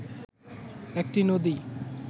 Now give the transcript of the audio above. একটি নদী